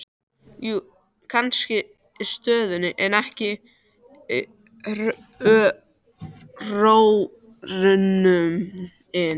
Jú, kannski stöðnunin, en ekki hrörnunin.